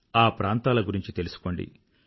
ఆ ప్రాంతాల గురించి తెలుసుకోండి